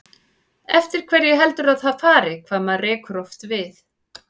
Eftir hverju heldurðu að það fari, hvað maður rekur oft við?